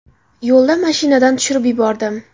Yo‘lda mashinadan tushirib yubordim.